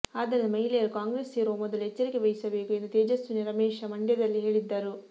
ಆದ್ದರಿಂದ ಮಹಿಳೆಯರು ಕಾಂಗ್ರೆಸ್ ಸೇರುವ ಮೊದಲು ಎಚ್ಚರಿಕೆ ವಹಿಸಬೇಕು ಎಂದು ತೇಜಸ್ವಿನಿ ರಮೇಶ ಮಂಡ್ಯದಲ್ಲಿ ಹೇಳಿದ್ದರು